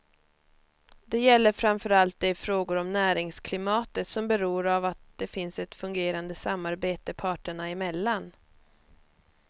Det gäller framför allt de frågor om näringsklimatet som beror av att det finns ett fungerande samarbete parterna emellan.